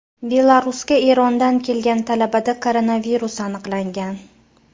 Belarusga Erondan kelgan talabada koronavirus aniqlangan .